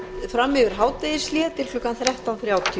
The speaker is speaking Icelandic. fram yfir hádegishlé til klukkan þrettán þrjátíu